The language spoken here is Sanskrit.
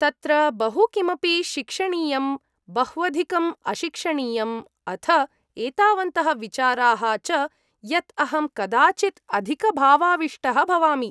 तत्र बहु किमपि शिक्षणीयम्, बह्वधिकम् अशिक्षणीयम्, अथ एतावन्तः विचाराः च यत् अहं कदाचित् अधिकभावाविष्टः भवामि।